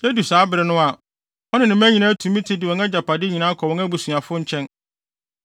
Edu saa bere no a, ɔne ne mma nyinaa tumi tu de wɔn agyapade nyinaa kɔ wɔn abusuafo nkyɛn.